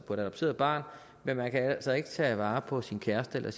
adopteret barn men man kan altså ikke tage vare på sin kæreste